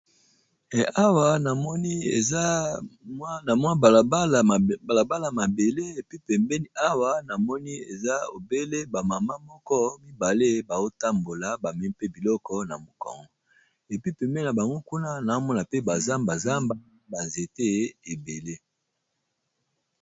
Eh Awa namoni eza na mwa bala bala mabele, epi pembeni awa na moni eza obele ba mama moko mibale bao tambola bamemi mpe biloko na mokongo. Epi pembeni na bango kuna nao mona pe ba zamba zamba, ba nzete ebele.